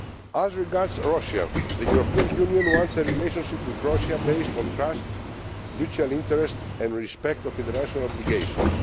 As regards Russia, the European Union wants a relationship with Russia based on trust, mutual interest and respect for international obligations.